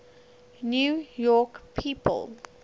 new york people